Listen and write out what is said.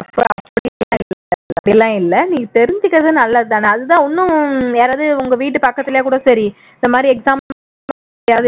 அப்படி எல்லாம் இல்லை நீ தெரிஞ்சிக்கிறது நல்லது தான அதுதான் இன்னும் யாராவது உங்க வீட்டு பக்கத்திலேயேகூட சரி இந்த மாதிரி exam